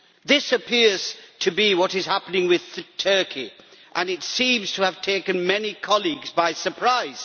This appears to be what is happening with Turkey, and it seems to have taken many colleagues by surprise.